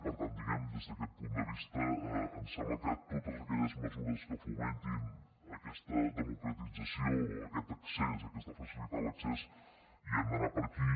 i per tant diguemne des d’aquest punt de vista ens sembla que totes aquelles mesures que fomentin aquesta democratització aquest accés aquest facilitar l’accés hem d’anar per aquí